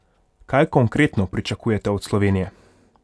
Kaj konkretno pričakujete od Slovenije?